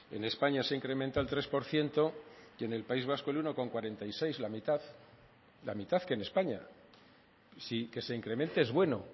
en españa se incrementa el tres por ciento y en el país vasco el uno coma cuarenta y seis la mitad la mitad que en españa sí que se incremente es bueno